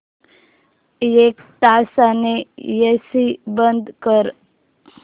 एक तासाने एसी बंद कर